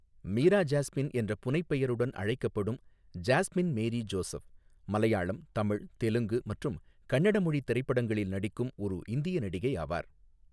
மீரா ஜாஸ்மின் என்ற புனைப்பெயருடன் அழைக்கப்படும் ஜாஸ்மின் மேரி ஜோசப், மலையாளம், தமிழ், தெலுங்கு மற்றும் கன்னட மொழித் திரைப்படங்களில் நடிக்கும் ஒரு இந்திய நடிகை ஆவார்.